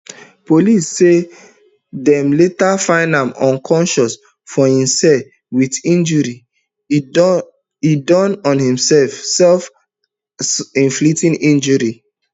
police tok say dem later find am unconscious for im cell wit injuries e do on imself selfinflicted injuries